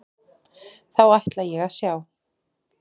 Þá ætla ég að sjá.